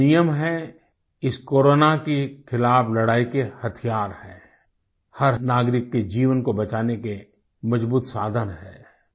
ये कुछ नियम हैं इस कोरोना की ख़िलाफ लड़ाई के हथियार हैं हर नागरिक के जीवन को बचाने के मजबूत साधन हैं